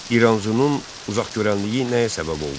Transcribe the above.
İranzunun uzaqgörənliyi nəyə səbəb oldu?